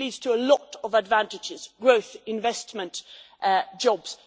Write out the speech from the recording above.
it leads to a lot of advantages growth, investment, jobs.